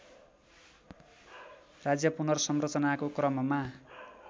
राज्य पुनर्संरचनाको क्रममा